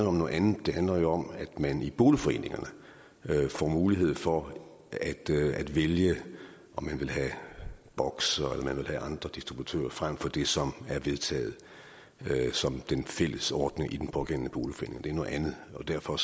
om noget andet det handler om at man i boligforeningerne får mulighed for at vælge om man vil have boxer eller om man vil have andre distributører frem for det som er vedtaget som den fælles ordning i den pågældende boligforening det er noget andet og derfor